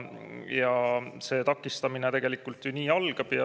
Nii see takistamine tegelikult ju algab.